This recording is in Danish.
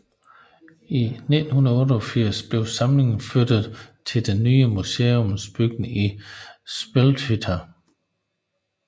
I 1988 blev samlingen flyttet til den nye museumsbygning i Smelthytta